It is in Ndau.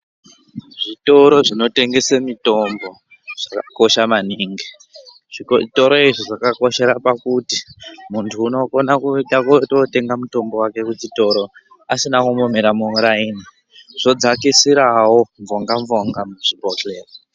Zvitoro zvinotengese mitombo zvakakosha maningi. Zvitoro izvi zvakakoshera pakuti muntu unokona kuinda kutootenga mutombo wake kuchitoro asina kumbomira mumuraini. Zvodzakisirawo mvonga-mvonga muzvibhohleya.